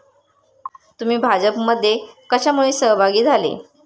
तुम्ही भाजपमध्ये कशामुळे सहभागी झाले?